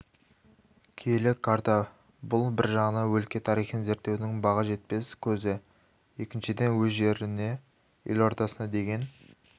киелі карта бұл бір жағынан өлке тарихын зерттеудің баға жетпес көзі екіншіден өз жеріне елордасына деген